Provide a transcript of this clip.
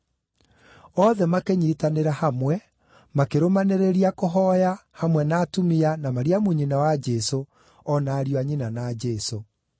Othe makĩnyiitanĩra hamwe, makĩrũmanĩrĩria kũhooya, hamwe na atumia, na Mariamu nyina wa Jesũ, o na ariũ a nyina na Jesũ.